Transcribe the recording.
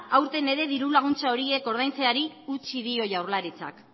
aurten ere diru laguntza horiek ordaintzeari utzi dio jaurlaritzak